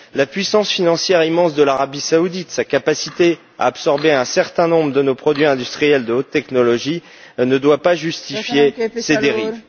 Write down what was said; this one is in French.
La puissance financière immense de l'Arabie saoudite, sa capacité à absorber un certain nombre de nos produits industriels de haute technologie ne doit pas justifier ces dérives.